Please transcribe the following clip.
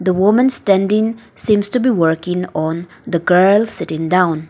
the woman standing seems to be working on the girl sitting down.